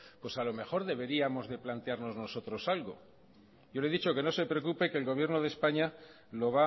pues a lo mejor deberíamos de plantearnos nosotros algo yo le he dicho que no se preocupe que el gobierno de españa lo